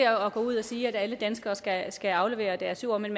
at gå ud og sige at alle danskere skal skal aflevere deres jord men